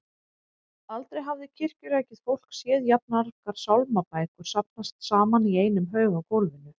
Aldrei hafði kirkjurækið fólk séð jafn margar sálmabækur safnast saman í einum haug á gólfinu.